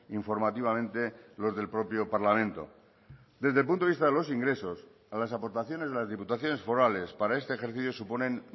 informativamente los del propio parlamento desde el punto de vista de los ingresos a las aportaciones de las diputaciones forales para este ejercicio suponen